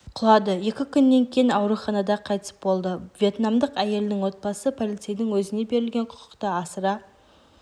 құлады екі күннен кейін ауруханада қайтыс болды вьетнамдық әйелдің отбасы полицейдің өзіне берілген құқықты асыра